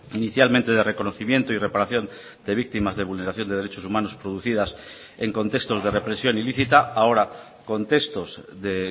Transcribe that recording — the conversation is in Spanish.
inicialmente de reconocimiento y reparación de víctimas de vulneración de derechos humanos producidas en contextos de represión ilícita ahora contextos de